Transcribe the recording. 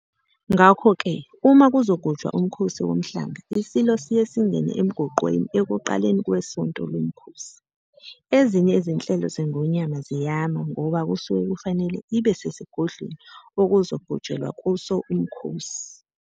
Ngakho-ke uma kuzogujwa uMkhosi Womhlanga iSilo siye singene emgonqweni ekuqaleni kwesonto lomkhosi. Ezinye izinhlelo zeNgonyama ziyama ngoba kusuke kufanele ibe sesigodlweni okuzogujelwa kuso umkhosi.